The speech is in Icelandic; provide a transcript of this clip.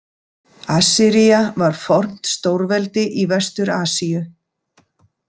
Assyría var fornt stórveldi í Vestur-Asíu.